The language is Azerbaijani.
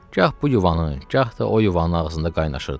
Gah bu yuvanın, gah da o yuvanın ağzında qaynaşırdılar.